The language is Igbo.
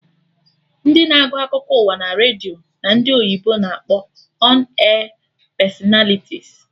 Ndị na-agụ akụkọ ụwa naredio ka ndị oyibo na-akpọ 'ọn air personalities'